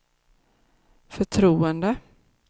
förtroende